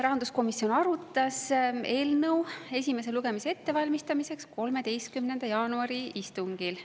Rahanduskomisjon arutas eelnõu esimese lugemise ettevalmistamiseks 13. jaanuari istungil.